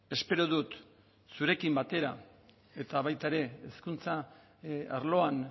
espero dut zurekin batera eta baita ere hezkuntza arloan